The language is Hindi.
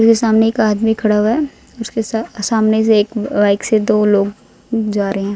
मेरे सामने एक आदमी खड़ा हुआ है उसके स सामने से एक बाइक से दो लोग जा रहे--